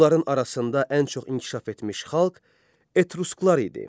Onların arasında ən çox inkişaf etmiş xalq Etrusklar idi.